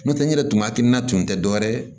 N'o tɛ n yɛrɛ tun hakilina tun tɛ dɔwɛrɛ ye